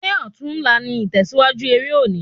Ṣé ọtún la ní itẹsiwaju eré òní